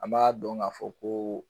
An b'a dɔn k'a fɔ ko